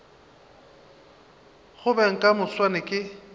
go beng ka moswane ke